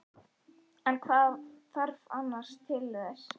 En það varð annar til þess.